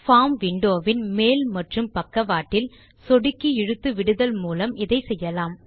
form window வின் மேல் மற்றும் பக்கவாட்டில் சொடுக்கி இழுத்து விடுதல் மூலம் இதை செய்யலாம்